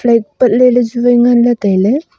light pat le le chu wai ngan le taile.